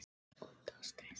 Það var sárt.